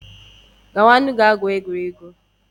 Gawanu gaa gwuo egwuregwu